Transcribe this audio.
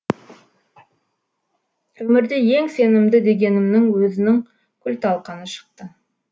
өмірде ең сенімді дегенімнің өзінің күл талқаны шықты